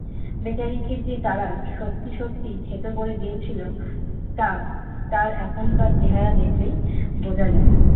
বেচারাকে যে তারা সত্যি সত্যি থেতো করে দিয়েছিল তা তার এখনকার চেহারা দেখলেই বুঝা যায়।